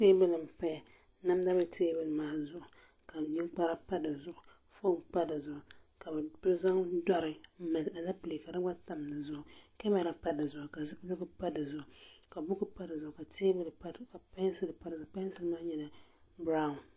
teebuli n-zaya namda be teebuli maa zuɣu ka ninkpara pa di zuɣu foon pa di zuɣu ka bɛ zaŋ dɔri m-mali aleepile ka di gba tam di zuɣu kamara pa di zuɣu ka zipiligu pa di zuɣu ka buku pa di zuɣu ka pɛnsili pa di zuɣu pɛnsili maa nyɛla biraun